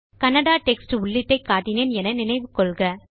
Kannada text உள்ளீட்டை காட்டினேன் என நினைவு கொள்க